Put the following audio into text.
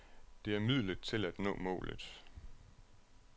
Det er midlet til at nå målet.